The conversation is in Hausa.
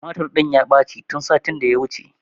Tumatur ɗin ya ɓaci tun satin da ya wuce